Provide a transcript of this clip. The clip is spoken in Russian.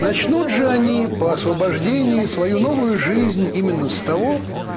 начнут же они по освобождению свою новую жизнь именно с того